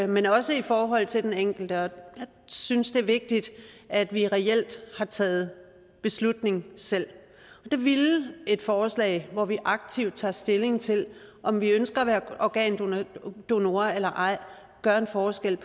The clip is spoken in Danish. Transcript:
men også i forhold til den enkelte jeg synes det er vigtigt at vi reelt har taget beslutningen selv og der ville et forslag hvor vi aktivt tager stilling til om vi ønsker at være organdonor eller ej gøre en forskel